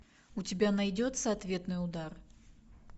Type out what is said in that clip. у тебя найдется ответный удар